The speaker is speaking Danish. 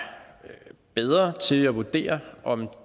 bedre til at vurdere om